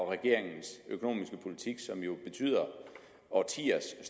regeringens økonomiske politik som jo betyder årtiers